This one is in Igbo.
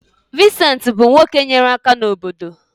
Vincent bụ nwoke nyere aka n’obodo.